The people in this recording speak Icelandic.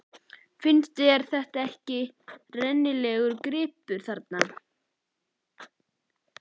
Finnst þér þetta ekki rennilegur gripur þarna?